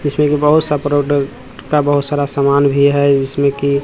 जिसमें की बहुत सा प्रोडक्ट का बहोत सारा सामान भी है जिसमें की--